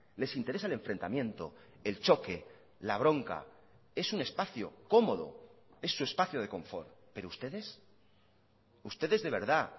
les interesa el enfrentamiento el choque la bronca es un espacio cómodo es su espacio de confort pero ustedes ustedes de verdad